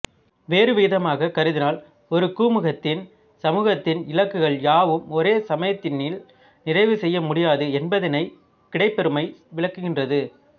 வேறுவிதமாக கருதினால் ஒரு குமுகத்தின் சமூகத்தின் இலக்குகள் யாவும் ஒரே சமயத்தினில் நிறைவு செய்யமுடியாது என்பதனைக் கிடைபருமை விளக்குகின்றது